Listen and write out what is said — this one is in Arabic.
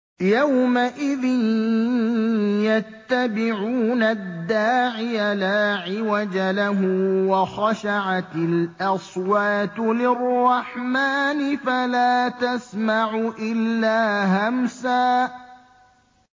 يَوْمَئِذٍ يَتَّبِعُونَ الدَّاعِيَ لَا عِوَجَ لَهُ ۖ وَخَشَعَتِ الْأَصْوَاتُ لِلرَّحْمَٰنِ فَلَا تَسْمَعُ إِلَّا هَمْسًا